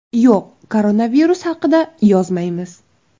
Yo‘q, koronavirus haqida yozmaymiz.